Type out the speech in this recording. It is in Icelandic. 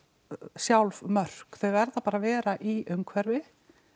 sjálf mörk þau verða bara vera í umhverfi